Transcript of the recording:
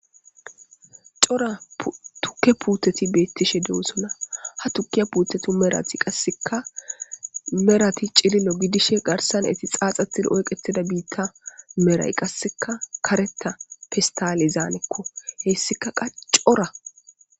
coa tukke puuteti beettishe dewosona ha tukkiya puutetu merati qasseka merati cilillo gidishe garsan eti xaaxatid oyqetida biitta meray qasseka kareta fistaale zaanekko heessika qa cora.